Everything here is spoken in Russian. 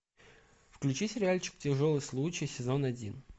включи сериальчик тяжелый случай сезон один